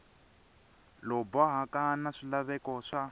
lowu bohaka na swilaveko swa